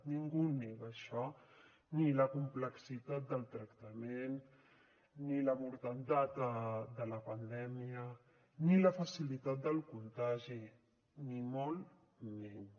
ningú ho nega això ni la complexitat del tractament ni la mortalitat de la pandèmia ni la facilitat del contagi ni molt menys